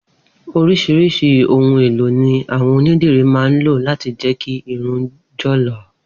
Orísirísi ohun elo ni àwọn onídìrí ma ń lò lati je kí irun jọ̀ lọ̀.